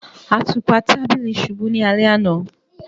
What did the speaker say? Àtupa tàbílí ṣubú ni alẹ̀ ana.